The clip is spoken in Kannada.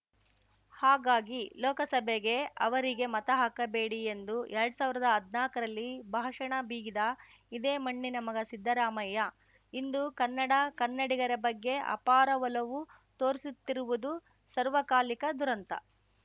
ಹಾಗಾಗಿ ಲೋಕಸಭೆಗೆ ಅವರಿಗೆ ಮತ ಹಾಕಬೇಡಿ ಎಂದು ಎರಡ್ ಸಾವಿರ್ದಾ ಹದ್ನಾಕರಲ್ಲಿ ಭಾಷಣ ಬಿಗಿದ ಇದೇ ಮಣ್ಣಿನ ಮಗ ಸಿದ್ದರಾಮಯ್ಯ ಇಂದು ಕನ್ನಡ ಕನ್ನಡಿಗರ ಬಗ್ಗೆ ಅಪಾರ ಒಲವು ತೋರಿಸುತ್ತಿರುವುದು ಸಾರ್ವಕಾಲಿಕ ದುರಂತ